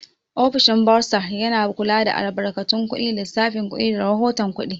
Ofishin bursar yana kula da albarkatun kuɗi, lissafin kuɗi, da rahoton kuɗi.